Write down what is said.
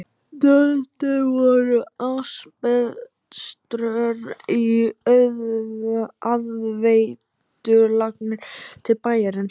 Notuð voru asbeströr í aðveitulagnir til bæjarins.